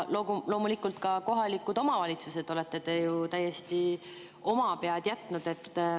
Loomulikult olete te ka kohalikud omavalitsused ju täiesti omapead jätnud.